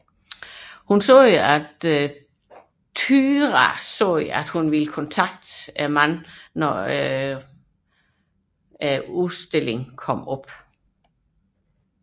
Hun tilføjede at Tyra sagde at hun ville kontakte Jordin når showet kom op